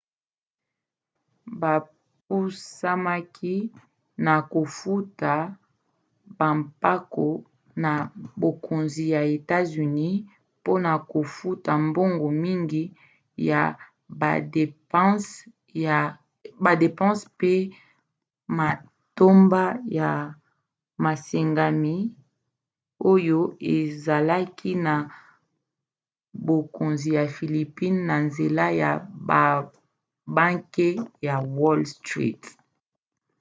bapusamaki na kofuta bampako na bokonzi ya etats-unis mpona kofuta mbongo mingi ya badepanse pe matomba ya masengami oyo ezalaki na bokonzi ya philippines na nzela ya babanke ya wall street